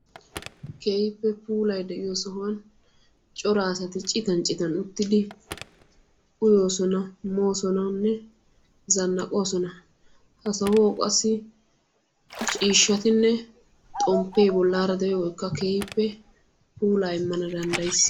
Keehippe puulay de'yo sohuwani cora asati ciitan ciitan uttidi uyossona moosonnanne zanaqqosona. Ha sohuwawu qassi ciishshattinne xomppe bollara de"iyooggkka keehippe puula imanna danddayis.